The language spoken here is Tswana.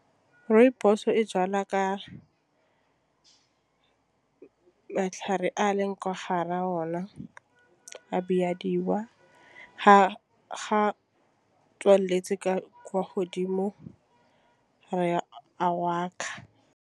Rooibos e jalwa ka matlhare a leng kwa ga ra ona a bidiwa ga tswaletse ka kwa godimo re a .